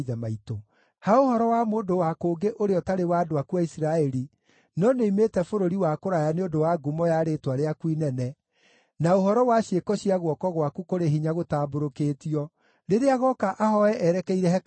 “Ha ũhoro wa mũndũ wa kũngĩ ũrĩa ũtarĩ wa andũ aku a Isiraeli no nĩ oimĩte bũrũri wa kũraya nĩ ũndũ wa ngumo ya rĩĩtwa rĩaku inene na ũhoro wa ciĩko cia guoko gwaku kũrĩ hinya gũtambũrũkĩtio, rĩrĩa agooka ahooe erekeire hekarũ ĩno,